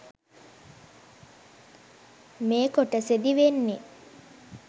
මේ කොටසෙදි වෙන්නේ